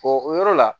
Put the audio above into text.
O yɔrɔ la